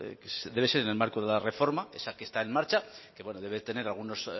que debe ser en el marco de la reforma esa que está en marcha que bueno debe de tener algunos